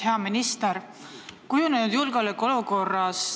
Hea minister!